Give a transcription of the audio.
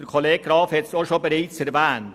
Grossrat Graf hat es bereits erwähnt.